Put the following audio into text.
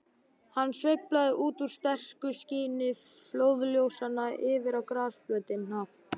Hann sveif út úr sterku skini flóðljósanna yfir á grasflötina.